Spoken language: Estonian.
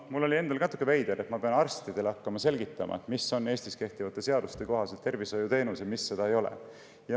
Mul oli endal ka natuke veider tunne, et ma pean hakkama arstidele selgitama, mis Eestis kehtivate seaduste kohaselt on tervishoiuteenus ja mis seda ei ole.